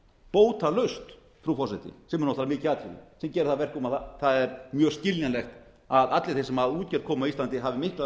bótalaust frú forseti sem er náttúrlega mikið atriði sem gerir það að verkum að það er mjög skiljanlegt að allir þeir sem að útgerð koma á íslandi hafi miklar